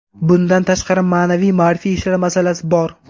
Bundan tashqari, ma’naviy-ma’rifiy ishlar masalasi bor.